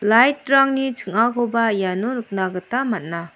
lait rangni ching·akoba iano nikna gita man·a.